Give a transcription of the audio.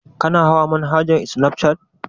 Kana hawar manhaja safcat?